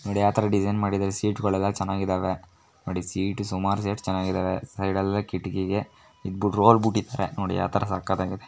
ನೋಡಿ ಯಾವ್ ತರ ಡಿಸೈನ್ ಮಾಡಿದರೆ ಸೀಟ್ಗಳೆಲ್ಲ ಚೆನ್ನಾಗಿದಾವೆ. ನೋಡಿ ಸೀಟ್ ಸುಮಾರ್ ಸೀಟ್ ಚನ್ನಾಗಿದಾವೆ. ಸೈಡ್ ಎಲ್ಲಾ ಕಿಟಕಿಗೆ ನೋಡಿ ಯಾವ್ ತರ ಸಕ್ಕತ್ತಾಗಿದೆ.